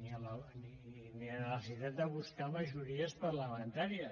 ni a la necessitat de buscar majories parlamentàries